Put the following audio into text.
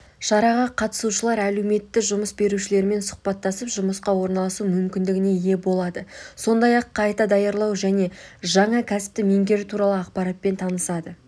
шараға қатысушылар әлеуетті жұмыс берушілермен сұхбаттасып жұмысқа орналасу мүмкіндігіне ие болады сондай-ақ қайта даярлау мен жаңа кәсіпті меңгеру туралы ақпаратпен танысады